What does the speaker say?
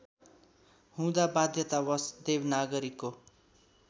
हुँदा बाध्यतावश देवनागरीको